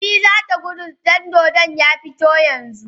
Fati zata gudu idan dodon ya fito yanzu